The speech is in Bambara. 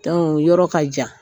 yɔrɔ ka jan